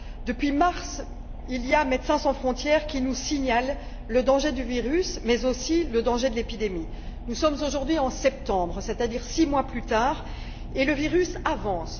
Depuis mars, Médecins sans frontières nous signale le danger du virus, mais aussi celui de l'épidémie. Nous sommes aujourd'hui en septembre, c'est à dire six mois plus tard, et le virus avance.